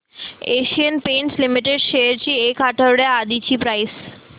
Asian Paints Limited shares ची एक आठवड्या आधीची प्राइस